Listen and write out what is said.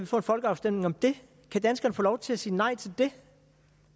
få en folkeafstemning om det kan danskerne få lov til at sige nej til det